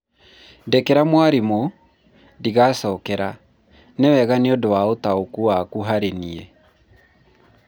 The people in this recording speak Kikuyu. ndekera mwarimũ, ndigacokera. nĩwega nĩ ũndũ wa ũtaũku waku harĩ niĩ